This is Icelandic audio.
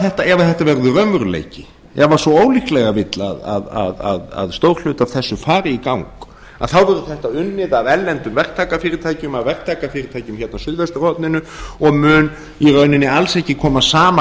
þetta verður raunveruleiki ef svo ólíklega vill að stór hluti af þessu fari í gang þá verður þetta unnið af erlendum verktakafyrirtækjum eða verktakafyrirtækjum á suðvesturhorninu og mun í rauninni alls ekki koma að sama